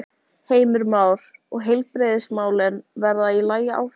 Heimir Már: Og heilbrigðismálin verða í lagi áfram?